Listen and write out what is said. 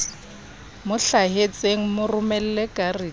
mo hlahetseng mo romelle karete